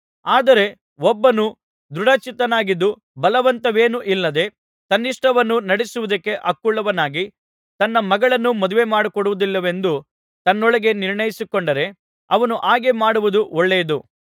ಆದರೆ ಒಬ್ಬನು ದೃಢಚಿತ್ತನಾಗಿದ್ದು ಬಲವಂತವೇನೂ ಇಲ್ಲದೆ ತನ್ನಿಷ್ಟವನ್ನು ನಡಿಸುವುದಕ್ಕೆ ಹಕ್ಕುಳ್ಳವನಾಗಿ ತನ್ನ ಮಗಳನ್ನು ಮದುವೆ ಮಾಡಿಕೊಡುವುದಿಲ್ಲವೆಂದು ತನ್ನೊಳಗೆ ನಿರ್ಣಯಿಸಿ ಕೊಂಡರೆ ಅವನು ಹಾಗೆಯೇ ಮಾಡುವುದು ಒಳ್ಳೆಯದು